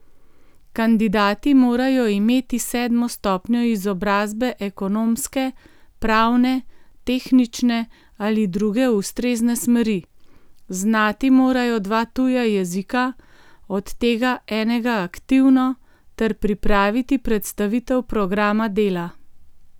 Kandidati morajo imeti sedmo stopnjo izobrazbe ekonomske, pravne, tehnične ali druge ustrezne smeri, znati morajo dva tuja jezika, od tega enega aktivno, ter pripraviti predstavitev programa dela.